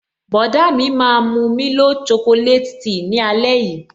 Bọ̀dá mi máa mu milo chocolate tea ni ale yii